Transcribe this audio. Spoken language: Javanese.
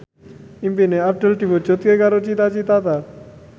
impine Abdul diwujudke karo Cita Citata